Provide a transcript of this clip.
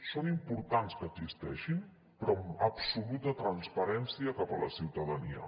és important que existeixin però amb absoluta transparència cap a la ciutadania